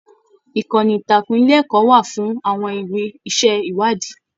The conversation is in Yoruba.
Ìkànnì ìtàkùn ilé ẹkọ wà fún àwọn ìwé iṣẹ ìwádìí.